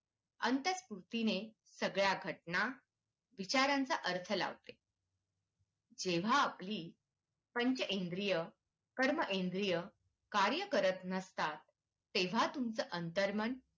अंतत्कृतीने सगळ्या घटना विचारांचा अर्थ लावते जेव्हा आपली पंचइंद्रिय कर्मेंद्रिय कार्य करत नासतात तेव्हा तुमचं